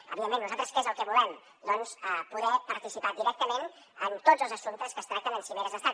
evidentment nosaltres què és el que volem doncs poder participar directament en tots els assumptes que es tracten en cimeres d’estat